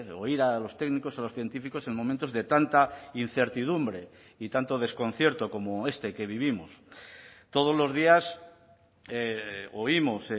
oír a los técnicos a los científicos en momentos de tanta incertidumbre y tanto desconcierto como este que vivimos todos los días oímos